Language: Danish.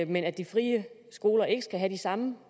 men at de frie skoler ikke skal have de samme